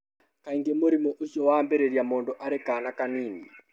Kaingĩ mũrimũ ũcio wambĩrĩria mũndũ arĩ kaana kanini.